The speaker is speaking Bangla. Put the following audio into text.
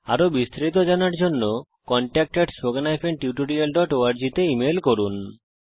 আরো বিস্তারিত জানার জন্য তাদের সাথে এই ই মেল এড্রেসে যোগাযোগ করুন